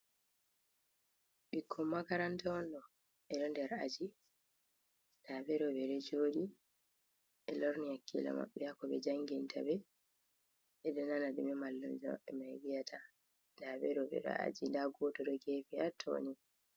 Ɓikko makaranta on ɗo, ɓeɗo nder aji, daɓeɗo ɓeɗo jodi ɓe lorni hakkilo maɓɓe hako ɓe jangintaɓe, ɓedonana ko mallumjo mabɓe mai viyata, daɓe ɓedo aji, da goto ɗo jodi hagefi hattoni.